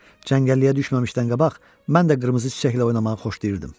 Cəngəlliyə düşməmişdən qabaq, mən də qırmızı çiçəklə oynamağı xoşlayırdım.